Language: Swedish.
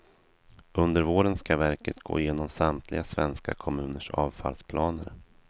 Under våren ska verket gå igenom samtliga svenska kommuners avfallsplaner.